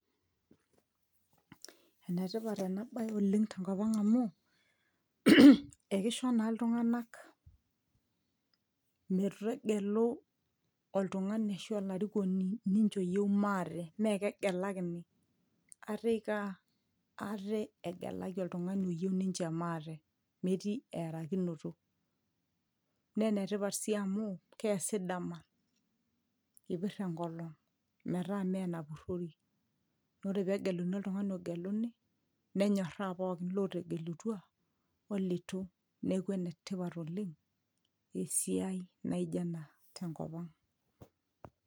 enetipat ena baye oleng' tenkop ang' amu ekisho naa iltung'anak metegelu oltung'ani ashu olarikoni ninche oyieu maate mee kegelakini ate iko aa ate egelaki oltung'ani oyieu ninche maate metii earakinoto naa enetipat sii amu keesi dama ipirr enkolong' metaa mee enapurori nore pegeluni oltung'ani ogeluni nenyorraa pookin lotegelutua olitu neeku enetipat oleng' esiai naijo ena tenkop ang'.